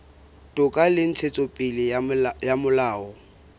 toka le ntshetsopele ya molao